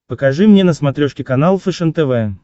покажи мне на смотрешке канал фэшен тв